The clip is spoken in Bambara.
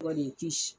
Kɔni ti